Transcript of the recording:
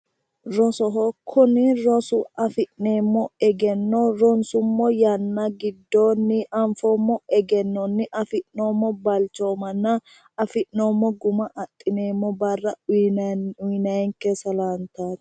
Rosoho. Kuni rosu afi'neemmo egenno ronsummo yanna giddoonni anfoommo egennonni afi'noommo balcoomanna afi'noommo guma adhineemmo barra uuyinayiinke salaantaati.